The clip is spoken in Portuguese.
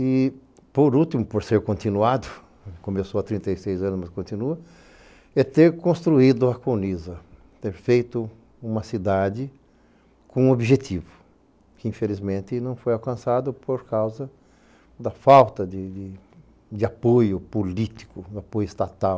E, por último, por ser continuado, começou há trinta e seis anos mas continua, é ter construído a Cuniza, ter feito uma cidade com um objetivo, que infelizmente não foi alcançado por causa da falta de apoio político, de apoio estatal.